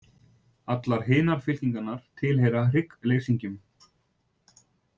Allar hinar fylkingarnar tilheyra hryggleysingjum.